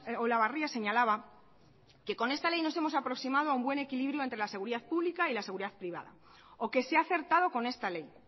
olabarria señalaba que con esta ley nos hemos aproximado a un buen equilibrio entre la seguridad pública y seguridad privada o que se ha acertado con esta ley